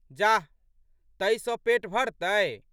जाह! तइ सँ पेट भरतै?